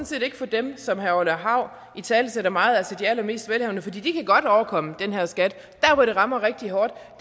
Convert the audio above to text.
set ikke for dem som herre orla hav italesætter meget altså at de allermest velhavende for de kan godt overkomme den her skat der hvor det rammer rigtig hårdt